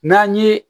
N'an ye